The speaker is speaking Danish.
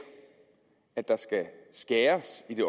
at der skal skæres i det